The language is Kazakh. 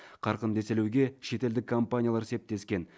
қарқынды еселеуге шетелдік компаниялар септескен